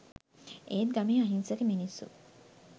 ඒත් ගමේ අහිංසක මිනිස්සු